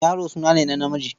Yaro suna ne na namiji.